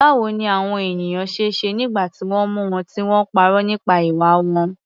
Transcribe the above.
Báwo ni àwọn ènìyàn ṣe ṣe nígbà tí wọ́n mú wọn tí wọ́n parọ́ nípa ìwà wọn?